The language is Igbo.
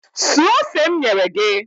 Suo ose m nyere gị!